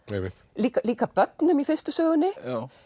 líka börnum í fyrstu sögunni